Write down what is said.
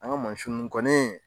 An ga nunnu kɔni